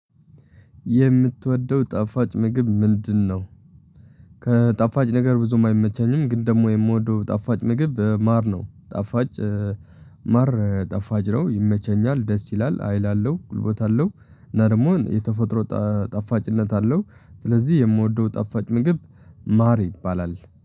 የምትወደው ጣፋጭ ምግብ ምንድነው? ከጣፋጭ ነገር ብዙም አይመቸኝም ግን ደግሞ የምወደው ጣፋጭ ምግብ ማር ነው። ጣፋጭ ማር ጣፋጭ ነው ይመቸኛል ደስ ይላል አይል አለው ጉልበት አለው። እና ደግሞ የተፈጥሮ ጣፋጭነት አለው። ስለዚህ የምወደው ጣፋጭ ምግብ ማር ይባላል